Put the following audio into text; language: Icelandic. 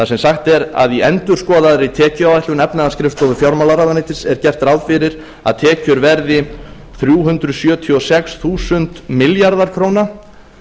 sem sagt er að í endurskoðaðri tekjuáætlun efnahagsskrifstofu fjármálaráðuneytis er gert ráð fyrir tekjur verði þrjú hundruð sjötíu og sex þúsund milljarðar króna